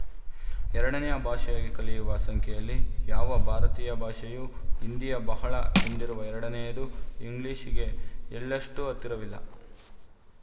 ಎರಡನೆಯ ಭಾಷೆಯಾಗಿ ಕಲಿಯುವ ಸಂಖ್ಯೆಯಲ್ಲಿ ಯಾವ ಭಾರತೀಯ ಭಾಷೆಯೂ ಹಿಂದಿಯ ಬಹಳ ಹಿಂದಿರುವ ಎರಡನೆಯದು ಇಂಗ್ಲಿಶಿಗೆ ಎಳ್ಳಷ್ಟೂ ಹತ್ತಿರವಿಲ್ಲ